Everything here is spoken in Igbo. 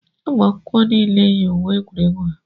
ụmụakwụkwọ niile yi uwe egwuregwu ha